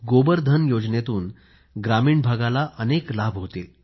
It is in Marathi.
गोबर धन योजनेतून ग्रामीण भागाला अनेक लाभ होतील